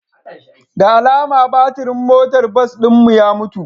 Da alama batirin motar bas ɗin mu ya mutu